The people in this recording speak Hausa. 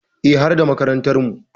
Eh, har da makarantarmu.